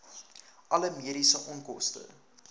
alle mediese onkoste